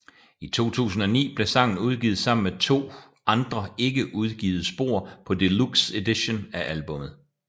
I 2009 blev sangen udgivet sammen med to andre ikke udgivet spor på Deluxe Edition af albummet